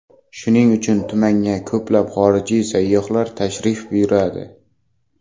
Shuning uchun tumanga ko‘plab xorijlik sayyohlar tashrif buyuradi.